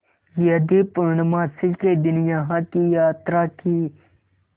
यदि पूर्णमासी के दिन यहाँ की यात्रा की